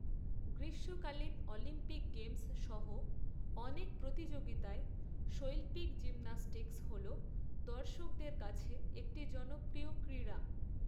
গ্রীষ্মকালীন Olympic games সহ অনেক প্রতিযোগিতায় শৈল্পিক জিমন্যাস্টিক্স হল দর্শকদের কাছে একটি জনপ্রিয় ক্রীড়া।